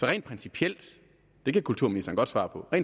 rent principielt det kan kulturministeren godt svare på